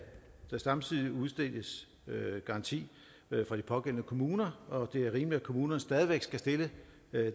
der samtidig udstikkes garanti fra de pågældende kommuner og det er rimeligt at kommunerne stadig væk skal stille